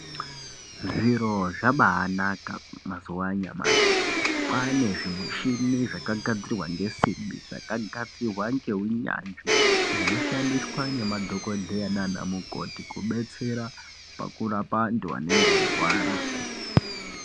Zviro zvabaanaka mazuva anyamashi kwane zvimichina zvakagadzirwa ngesimbi zvakagadzirwa ngehunyanzvi zvinoshandiswa ngemadhokoteya nana mukoti kubetsera pakurapa antu anenge airwara.